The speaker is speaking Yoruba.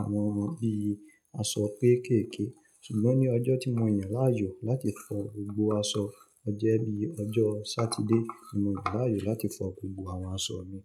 àwọn bí i aṣọ kéékèkè. Ṣùgbọ́n ní ọjọ́ tí mo yàn láàyò láti fọ gbogbo aṣọ, ọ jẹ́ bí i ọjọ́ Sátidé tí mo yàn láàyò láti fọ gbogbo àwọn aṣọ mi.